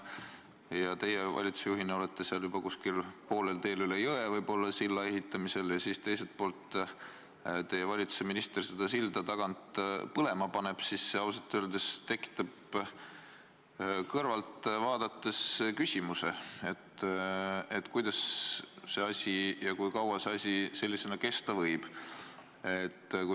Aga kui teie valitsusjuhina olete silla ehitamisega juba kuskil poolel teel üle jõe, siis teiselt poolt paneb teie valitsuse minister seda silda tagant põlema ja see ausalt öeldes tekitab kõrvalt vaadates küsimuse, kuidas ja kui kaua see asi kesta võib.